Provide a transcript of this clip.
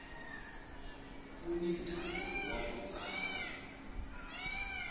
kuni ndhavuko waku tsala